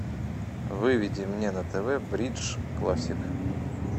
выведи мне на тв бридж классик